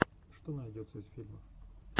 что найдется из фильмов